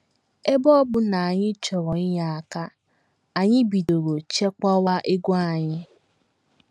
Ebe ọ bụ na anyị chọrọ inye aka, anyị bidoro chekwawa ego anyị.